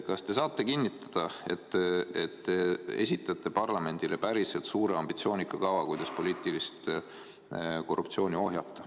Kas te saate kinnitada, et te esitate parlamendile päriselt suure ambitsioonika kava, kuidas poliitilist korruptsiooni ohjata?